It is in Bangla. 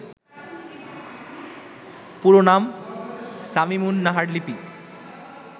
পুরো নাম শামীমুন নাহার লিপি